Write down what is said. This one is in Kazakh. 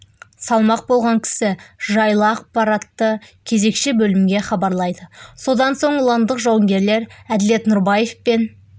салмақ болған кісі жайлы ақпаратты кезекші бөлімге хабарлайды содан соң ұландық жауынгерлер әділет нұрбаев пен